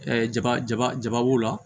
jaba jaba jaba b'o la